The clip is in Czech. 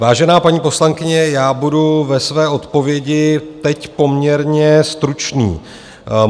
Vážená paní poslankyně, já budu ve své odpovědi teď poměrně stručný.